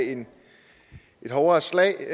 et hårdere slag